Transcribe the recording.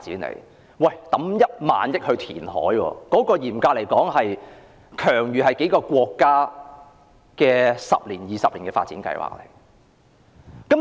政府投資1萬億元進行填海工程，這筆開支等於數個國家十多二十年的發展計劃。